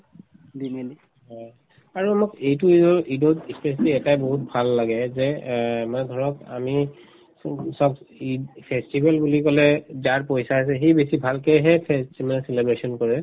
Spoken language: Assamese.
হয় আৰু অলপ এইটো ঈদত ই specially এটায়ে বহুত ভাল লাগে এই যে মানে এহ্ মানে ধৰক আমি চব ঈদ festival বুলি কলে যাৰ পইচা আছে সি বেছি ভালকেহে festival celebration কৰে